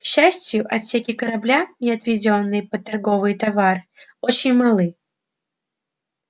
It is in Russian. к счастью отсеки корабля не отведённые под торговые товары очень малы